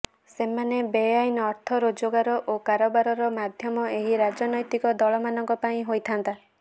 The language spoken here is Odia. ସେମାନେ ବେଆଇନ ଅର୍ଥ ରୋଜଗାର ଓ କାରବାରର ମାଧ୍ୟମ ଏହି ରାଜନୈତିକ ଦଳମାନଙ୍କ ପାଇଁ ହୋଇଥାନ୍ତି